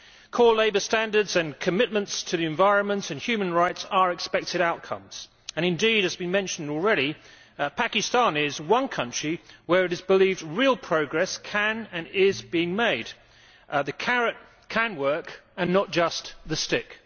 Core labour standards and commitments to the environment and human rights are expected outcomes and indeed, as has been mentioned already, Pakistan is one country where it is believed real progress can and is being made. The carrot can work and not just the stick.